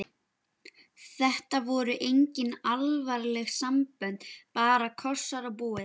Þetta voru engin alvarleg sambönd, bara kossar og búið.